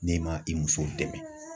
N'i ma i musow dɛmɛ